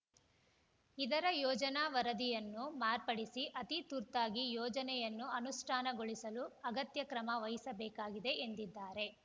ಇದರ ಯೋಜನಾ ವರದಿಯನ್ನು ಮಾರ್ಪಡಿಸಿ ಅತಿ ತುರ್ತಾಗಿ ಯೋಜನೆಯನ್ನು ಅನುಷ್ಠಾನಗೊಳಿಸಲು ಅಗತ್ಯ ಕ್ರಮ ವಹಿಸಬೇಕಾಗಿದೆ ಎಂದಿದ್ದಾರೆ